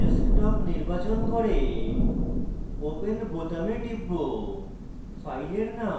তাই আমি desktop নির্বাচন করে open বোতামে টিপব